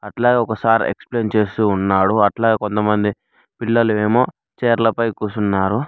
అట్లాగే ఒక sir explain చేస్తూ ఉన్నాడు అట్లాగే కొంతమంది పిల్లలు ఏమో చేర్లపై కుసున్నారు.